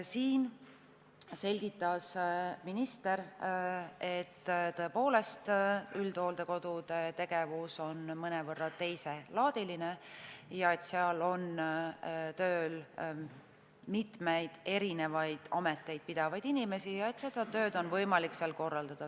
Minister selgitas, et tõepoolest, üldhooldekodude tegevus on mõnevõrra teiselaadiline, seal on tööl mitmeid erinevaid ameteid pidavaid inimesi ja seda tööd on võimalik seal korraldada.